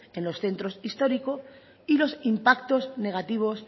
en los centros históricos y los impactos negativos